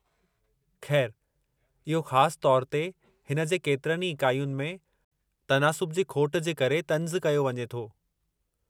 खै़रु, इहो ख़ास तौर ते हिन जे केतिरनि ई इकाइयुनि में तनासुब जी खोटि जे करे तंज़ु कयो वञे थो।